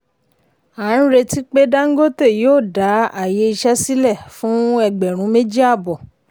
a ń retí pé dangote yóò dá àyè iṣẹ́ sílẹ̀ fún ẹgbẹ̀rún méjì àbọ̀.